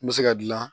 N bɛ se ka gilan